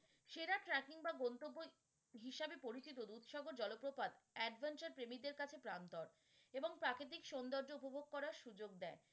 সেরা tracking বা গন্তব্য হিসাবে পরিচিত দুধসাগর জলপ্রপাত adventure প্রেমীদের কাছে প্রান্তর। এবং প্রাকৃতিক সৌন্দর্য উপভোগ করার সুযোগ দেয়